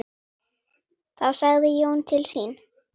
Þá sagði Jón til sín.